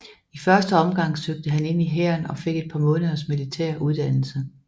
I første omgang søgte han ind i hæren og fik et par måneders militær uddannelse